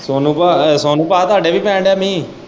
ਸੋਨੂੰ ਪਾ ਸੋਨੂੰ ਪਾ ਤੁਹਾਡੇ ਵੀ ਪੈਣ ਦਿਆ ਮੀਂਹ।